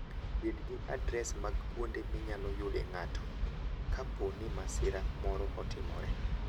Bed gi adres mag kuonde minyalo yude ng'ato kapo ni masira moro otimore.